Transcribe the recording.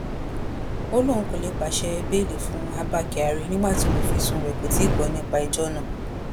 ó lóun kò lè pàṣẹ bẹ́ẹ̀lì fún abba kyari nígbà tí olùfisùn rẹ̀ kò tí ì gbọ́ nípa ẹjọ́ náà